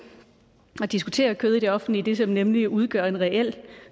at diskutere kød i det offentlige nemlig det som udgør en reel